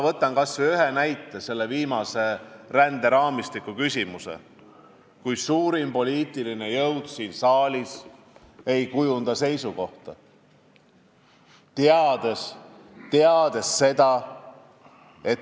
Toon aga ühe näite seoses hiljutise ränderaamistikku puutuva küsimusega: suurim poliitiline jõud siin saalis jättis kujundamata oma seisukoha.